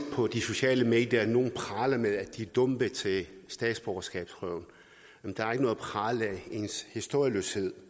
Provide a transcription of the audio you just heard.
på de sociale medier at nogle praler med at de er dumpet til statsborgerskabsprøven ens historieløshed